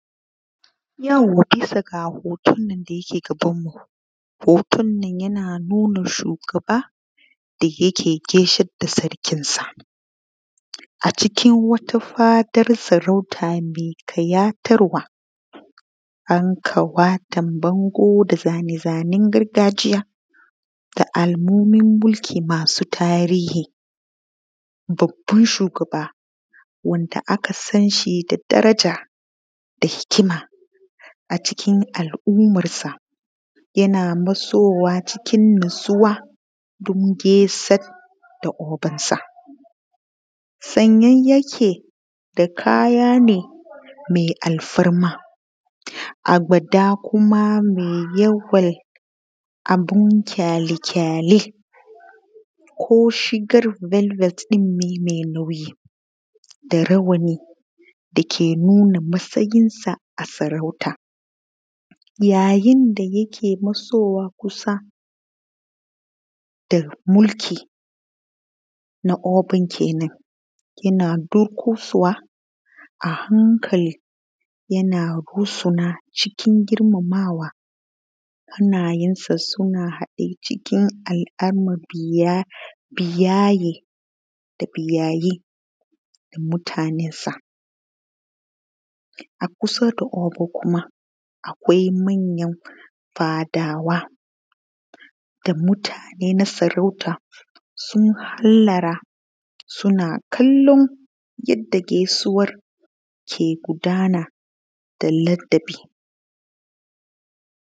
Yauwa yanzo ga hoton da yake gabanmu, hutunnan yana nuna shugaba da yake gaishe da sarkinsa a cikin wata fadan sarauta me ƙayatarwa a yi wanda aka ɓata bangu da zane-zanen gargajiya da alamomin mulki masu tasiri babban shugaba wanda aka san shi da daraja da hikima a cikin al’ummarsa, yana matsowa cikin natsuwa don gaishe da ogansa sanye yake da kaya mai alfarma a ba da kuma mai yawan abun ƙareƙare kushi walwat ɗin ne me nauyi da rawanin dake nuna matsayinsa a sarauta, yayin da yake matsowa kusa da mulki na Obun kenan yana dukaswa a hankali yana rusina cikin girmamawa, hanyensa suna haɗe cikin mabiya nasa a kusa da Ogo kuma akwai manyan fadawa da mutane na sarauta sun hallara suna kallon yanda gaisuwan ke gudana da ladabi.